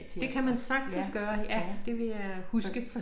Det kan man sagtens gøre ja det vil jeg huske